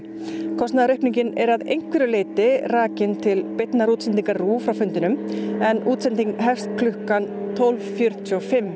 kostnaðaraukningin er að einhverju leyti rakin til beinnar útsendingar RÚV frá fundinum en útsendingin hefst klukkan tólf fjörutíu og fimm